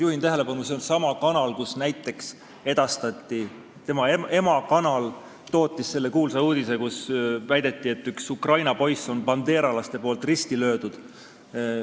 Juhin tähelepanu, et see on sama kanal, mille emakanal tootis selle kuulsa uudise, kus väideti, et bandeeralased on ühe Ukraina poisi risti löönud.